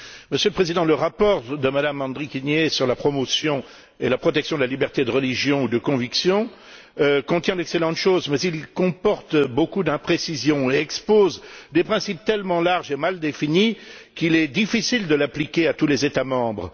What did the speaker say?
Monsieur le Président, le rapport de Mme Andrikienė sur la promotion et la protection de la liberté de religion ou de conviction contient d'excellentes choses, mais il comporte beaucoup d'imprécisions et expose des principes tellement larges et mal définis qu'il est difficile de l'appliquer à tous les États membres.